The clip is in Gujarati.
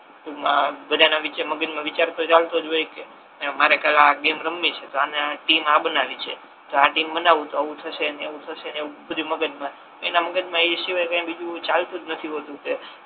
ટૂંક મા બધા ના વિશે મગજ મા વિચાર તો ચાલતો જ હોય કે મારે કાલે આ ગેમ રમવી છે તો આને ટીમ આ બનાવી છે તો આ ટીમ બનવુ તો આવુ થશે ને તેવુ થશે બધી મગજમા એ સિવાય એના મગજ મા બીજુ કઈ ચાલતુ જ નથી હોતુ કે